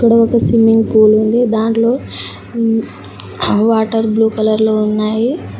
ఒక swimming pool ఉంది దాంట్లో వాటర్ బ్లూ కలర్ లో ఉన్నాయి.